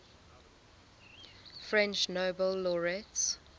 french nobel laureates